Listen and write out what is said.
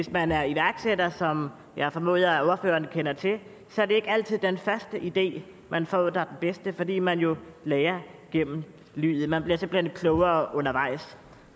man er iværksætter som jeg formoder at ordføreren kender til er det ikke altid den første idé man får der er den bedste fordi man jo lærer igennem livet man bliver simpelt hen klogere undervejs